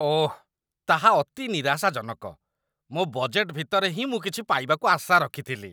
ଓଃ, ତାହା ଅତି ନିରାଶାଜନକ। ମୋ ବଜେଟ ଭିତରେ ହିଁ ମୁଁ କିଛି ପାଇବାକୁ ଆଶା ରଖିଥିଲି।